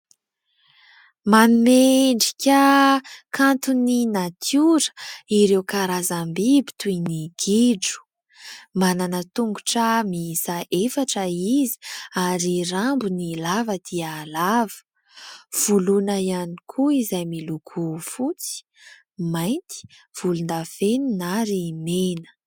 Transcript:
Manome endrika kanto ny natiora ireo karazam-biby toy ny gidro. Manana tongotra mihisa efatra izy ary ny rambony lava dia lava. Volony ihany koa izay miloko fotsy, mainty, volon-davenina ary mena.